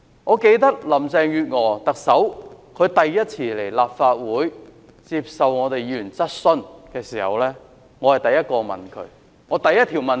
我記得特首林鄭月娥首次來立法會接受議員質詢時，我是第一個問她的議員。